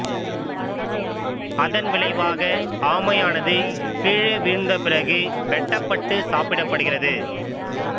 அதன் விளைவாக ஆமையானது கீழே வீழ்ந்த பிறகு வெட்டப்பட்டு சாப்பிடப் படுகிறது